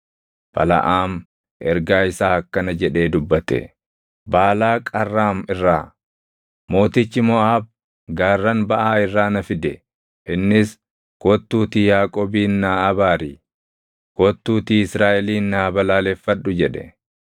Balaʼaam ergaa isaa akkana jedhee dubbate: “Baalaaq Arraam irraa, mootichi Moʼaab gaarran baʼaa irraa na fide. Innis, ‘Kottuutii Yaaqoobin naa abaari; kottuutii Israaʼelin naa balaaleffadhu’ jedhe.